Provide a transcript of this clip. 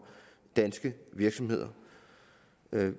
danske virksomheder